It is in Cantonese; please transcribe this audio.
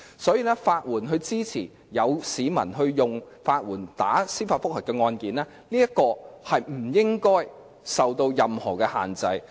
所以，法援支持市民提出司法覆核和進行有關的法律程序不應受任何限制。